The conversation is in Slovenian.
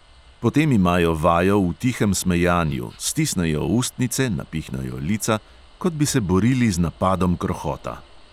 Potem imajo vajo v tihem smejanju, stisnejo ustnice, napihnejo lica, kot bi se borili z napadom krohota.